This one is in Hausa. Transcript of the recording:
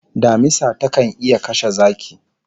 Damisa takan iya kashe zaki